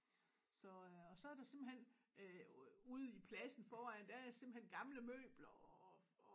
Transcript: Så øh og så er der simpelthen øh ude i pladsen foran der er der simpelthen game møbler og og